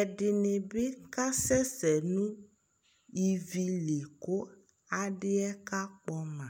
ɛdini bi kasɛ sɛ no ivi li kò adi yɛ kakpɔ ma